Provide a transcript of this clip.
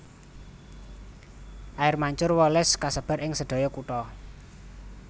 Air Mancur Wallace kasebar ing sedaya kutha